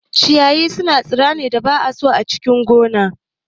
Ciyayi sune tsirran da ba'a so a cikin gona.